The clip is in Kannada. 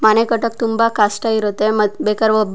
ಮನೆ ಕಟ್ಟೋದು ತುಂಬಾ ಕಷ್ಟ ಇರುತ್ತೆ ಮತ್ ಬೇಕಾರೆ ಒಬ್ರು--